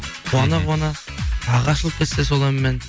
қуана қуана бағы ашылып кетсе сол әнмен